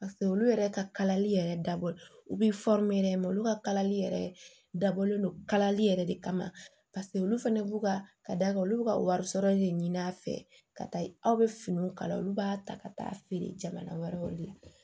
olu yɛrɛ ka kalali yɛrɛ dabɔ u bi olu ka kalali yɛrɛ dabɔlen do kalali yɛrɛ de kama paseke olu fɛnɛ b'u ka ka olu ka wari sɔrɔ de ɲini a fɛ ka taa aw bɛ finiw kala olu b'a ta ka taa feere jamana wɛrɛw de la